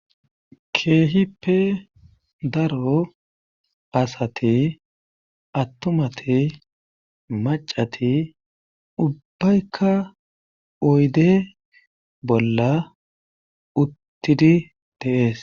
Keehippe daro asati attumati maccati ubbayka oyden bolla uttidi de'ees.